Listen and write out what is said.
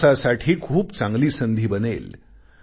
विकासासाठी खूप चांगली संधी बनेल